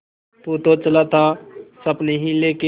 तू तो चला था सपने ही लेके